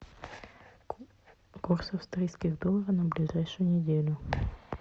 курс австрийских долларов на ближайшую неделю